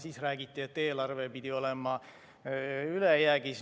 Siis räägiti, et eelarve pidi olema ülejäägis.